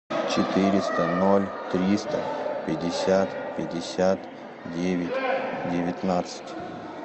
четыреста ноль триста пятьдесят пятьдесят девять девятнадцать